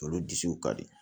Olu disiw ka di